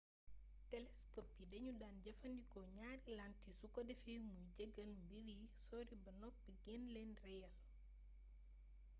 telescope yi dañu daan jëfandikoo ñaari lentille su ko defee muy jegeel mbir yu sori ba noppi gën leen rëyal